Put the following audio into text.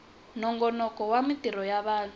nongonoko wa mintirho ya vanhu